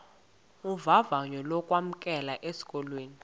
vavanyo lokwamkelwa esikolweni